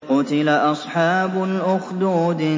قُتِلَ أَصْحَابُ الْأُخْدُودِ